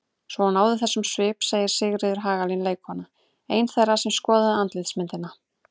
Svo hún náði þessum svip segir Sigríður Hagalín leikkona, ein þeirra sem skoða andlitsmyndina.